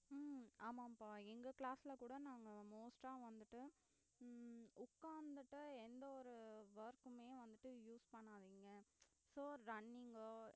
உம் ஆமா பா எங்க class ல கூட நாங்க most அ வந்துட்டு உம் உக்காந்துட்டு எந்த ஒரு work குமே வந்துட்டு use பண்ணாதீங்க so running ஓ